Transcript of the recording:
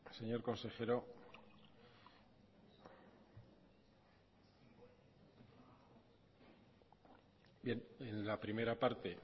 señor consejero bien en la primera parte